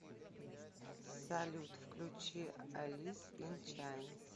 салют включи алис ин чайнс